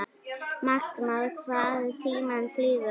Magnað hvað tíminn flýgur?